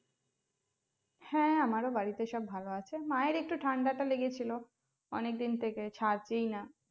হ্যা আমার ও বাড়িতে সব ভালো আছে মায়ের একটু ঠান্ডাটা লেগেছিল, অনেক দিন থেকে ছাড়ছেই না